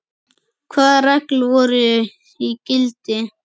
Hvaða reglur voru í gildi?